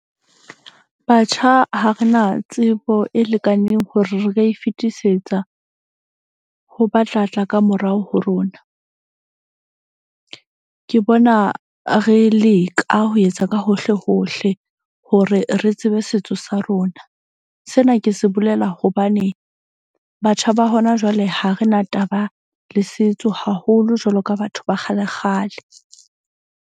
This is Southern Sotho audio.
Batjha, ha re na tsebo e lekaneng hore re ka e fetisetsa ho ba tlatla ka morao ho rona. Ke bona re leka ho etsa ka hohle hohle hore re tsebe setso sa rona. Sena ke se bolela hobane batjha ba hona jwale ha re na taba le setso haholo jwalo ka batho ba kgale kgale.